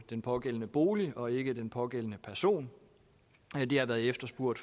den pågældende bolig og ikke den pågældende person det har været efterspurgt